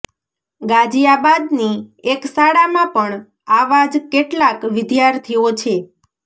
ગાઝિયા બાદની એક શાળામાં પણ આવા જ કેટલાક વિદ્યાર્થીઓ છે